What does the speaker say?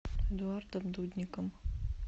эдуардом дудником